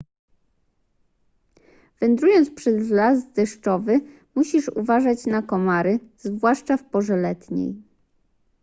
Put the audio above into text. wędrując przez las deszczowy musisz uważać na komary zwłaszcza w porze letniej